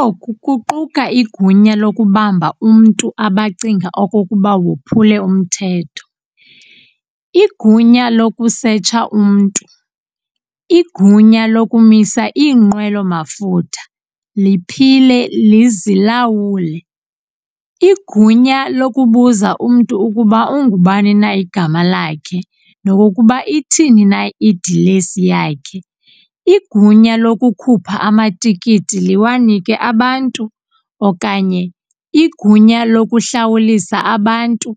Oku kuquka igunya lokubamba umntu abacinga okokuba wophule umthetho, igunya lokusetsha umntu, igunya lokumisa iinqwelo mafutha liphile lizilawule, igunya lokubuza umntu ukuba ungubani na igama lakhe nokokuba ithini na idilesi yakhe, igunya lokukhupha amatikiti liwanike abantu okanye igunya lokuhlawulisa abantu